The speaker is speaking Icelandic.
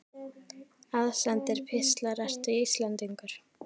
Aðsendir pistlar Ertu Íslendingur?